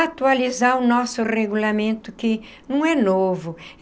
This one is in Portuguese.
Atualizar o nosso regulamento que não é novo.